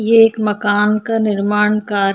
ये एक मकान का निर्माण कार्य--